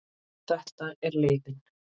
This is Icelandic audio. Þetta er leiðin.